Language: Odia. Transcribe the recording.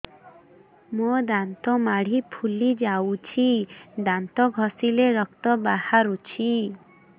ମୋ ଦାନ୍ତ ମାଢି ଫୁଲି ଯାଉଛି ଦାନ୍ତ ଘଷିଲେ ରକ୍ତ ବାହାରୁଛି